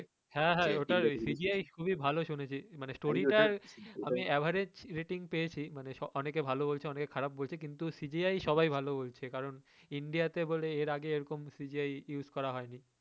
হ্যা হ্যা ওটার CGI খুবই ভালো মানে story টার আমি average rating পেয়েছি মানে অনেকে ভালো বলছে অনেকে খারাপ বলছে কিন্তু CGI সবাই ভালো বলছে কারন India তে বলে এর আগে এরকম CGIuse করা হয় নি